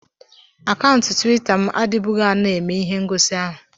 Akaụntụ Tuwita m adịbughị ana eme ihe ngosi ahu